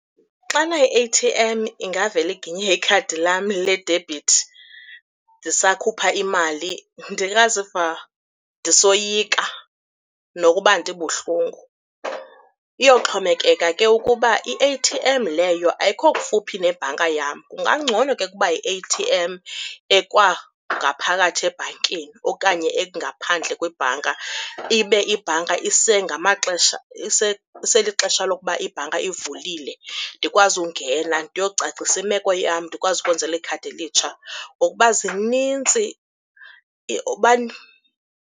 Xana i-A_T_M ingavele iginye ikhadi lam ledebhithi ndisakhupha imali, ndingaziva ndisoyika nokuba ndibuhlungu. Iyoxhomekeka ke ukuba i-A_T_M leyo ayikho kufuphi nebhanka yam. Kungangcono ke ukuba yi-A_T_M ekwangaphakathi ebhankini okanye engaphandle kwebhanka ibe ibhanka isengamaxesha, iselixesha lokuba ibhanka ivulile. Ndikwazi ungena ndiyocacisa imeko yam, ndikwazi ukwenzelwa ikhadi elitsha ngokuba zinintsi .